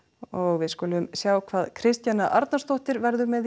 við skulum sjá hvað Kristjana Arnarsdóttir verður með í íþróttafréttunum